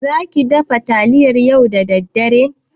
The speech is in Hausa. Zaki dafa taliyar yau da daddare?